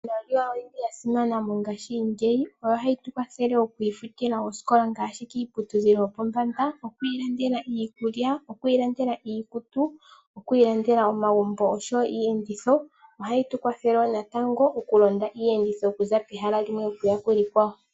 Iimaliwa oyi li ya simana mongaashingeyi oyo hayi tu kwathele okwi ifutila osikola ngaashi kiiputudhilo yopombanda, okwi ilandela iikulya, okwi ilandela iikutu, okwi ilandela omagumbo oshowo iiyenditho. Ohayi tu kwathele wo natango okulonda iiyenditho okuza pehala limwe okuya kekwawo.